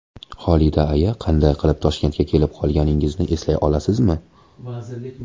Xolida aya, qanday qilib Toshkentga kelib qolganingizni eslay olasizmi?